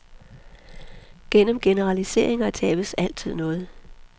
Gennem generaliseringer tabes altid noget.